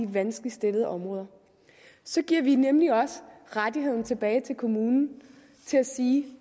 vanskeligt stillede områder så giver vi nemlig også rettigheden tilbage til kommunen til at sige